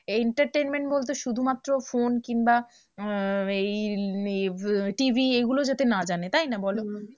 এই entertainment বলতে শুধুমাত্র ফোন কিংবা আহ এই TV এইগুলো যাতে না জানে বলো?